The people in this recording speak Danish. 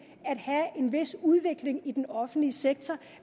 at have en vis udvikling i den offentlige sektor